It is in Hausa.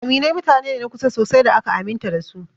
Aminai mutane ne na kusa sosai da aka aminta da su.